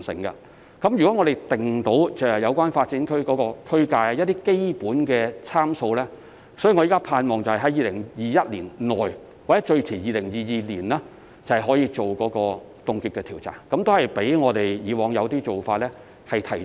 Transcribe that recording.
如果我們能制訂有關發展區的區界和一些基本的參數，我現時希望可於2021年內或最遲於2022年進行凍結調查，這較我們以往的一些做法是提早了。